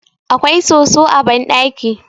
awkai soso a banɗaki